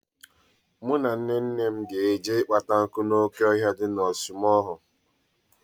Mụ na Nnenne m ga-eje ịkpata nkụ n'oke ọhịa dị na ọsụmoghu.